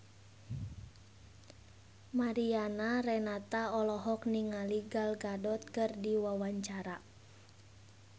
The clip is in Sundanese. Mariana Renata olohok ningali Gal Gadot keur diwawancara